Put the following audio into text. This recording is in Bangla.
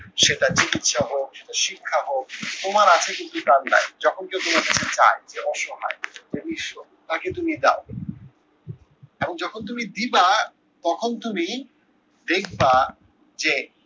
সেটা চিকিৎসা হোক, বা শিক্ষা হোক তোমার আছে কিন্তু তার নাই, যখন যে চায় যে অসহায় যে নিঃস্ব তাকে তুমি দাও। এখন যখন তুমি দিবা তখন তুমি দেখবা যে,